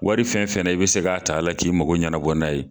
Wari fɛn fɛn na i bi se ka ta a la, k'i mago ɲɛnabɔ na ye